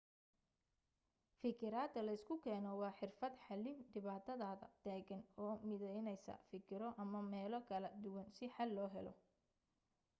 fikirada leysku keeno waa xirfad xalin dhibaatada taagan oo mideynesa fikiro ama meelo kala duwan si xal loo helo